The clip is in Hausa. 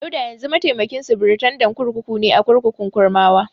Dauda yanzu mataimakin sufritandan kurkuku ne a kurkukun Kurmawa.